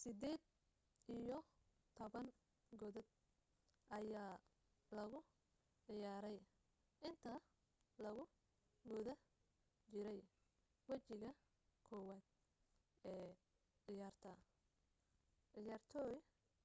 sideed iyo toban godad ayaa lagu ciyaarey inta lagu guda jirey wejiga koowaad ee ciyaarta ciyaartoy